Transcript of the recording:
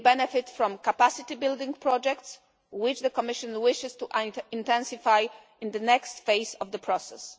They benefit from capacity building projects, which the Commission wishes to intensify in the next phase of the process.